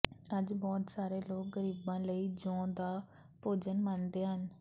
ਅੱਜ ਬਹੁਤ ਸਾਰੇ ਲੋਕ ਗ਼ਰੀਬਾਂ ਲਈ ਜੌਂ ਦਾ ਭੋਜਨ ਮੰਨਦੇ ਹਨ